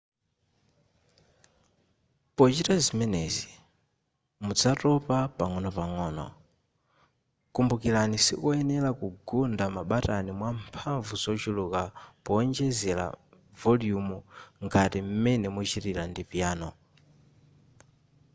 pochita zimenezi muzatopa pang'onopang'o kumbukirani sikoyenera kugunda mabatani mwamphamvu zochuluka powonjezera voliyumu ngati m'mene muchitira ndi piyano